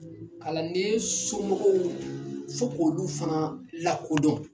Kalanden somɔgɔw fo k'olu fana lakodɔn.